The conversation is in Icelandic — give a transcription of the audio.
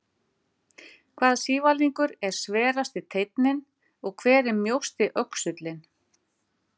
Hvaða sívalningur er sverasti teinninn og hver er mjósti öxullinn?